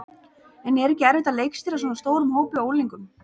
En er ekki erfitt að leikstýra svona stórum hópi af unglingum?